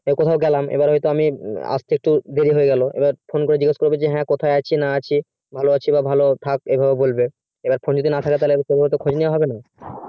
হয়তো আমি গেলাম আস্তে একটু দেরি হয়ে গেলো আর phone তাই জিজ্ঞেস করবো কোথায় আছি না আছি ভালো আছি বা ভালো থাকে এরকমই বলবো phone তা যদি না থাকে আমি কিছু শুনতে পারবোনা